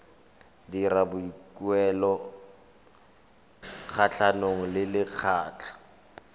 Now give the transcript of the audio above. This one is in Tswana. dira boikuelo kgatlhanong le lekgotlha